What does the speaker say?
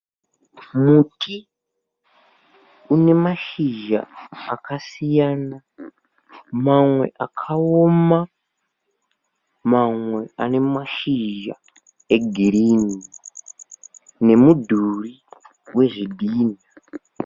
Muti unemashizha akasiyana mamwe akaoma mamwe anemashizha egirini ne midhuri wezvidhinha